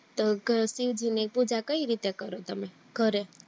તો ઘરે શિવાજી ની પૂજા કય રિયે કરો તમે ઘરે?